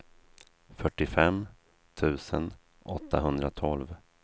fyrtiofem tusen åttahundratolv